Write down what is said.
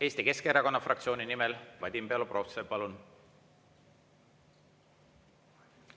Eesti Keskerakonna fraktsiooni nimel Vadim Belobrovtsev, palun!